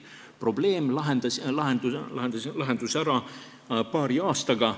Probleem lahenes paari aastaga.